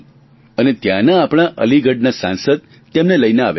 અને ત્યાંના આપણા અલીગઢના સાંસદ તેમને લઇને આવ્યા હતા